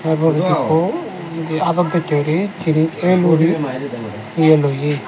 tarpor ekku te adot dochey guri jinich ell guri iye loyi.